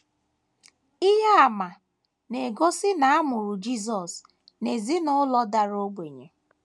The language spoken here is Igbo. Ihe àmà na - egosi na a mụrụ Jisọs n’ezinụlọ dara ogbenye.